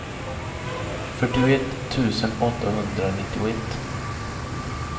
fyrtioett tusen åttahundranittioett